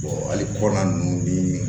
hali kɔri nunnu ni